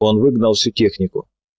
он выгнал всю технику